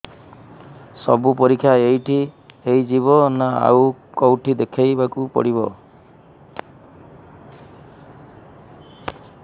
ସବୁ ପରୀକ୍ଷା ଏଇଠି ହେଇଯିବ ନା ଆଉ କଉଠି ଦେଖେଇ ବାକୁ ପଡ଼ିବ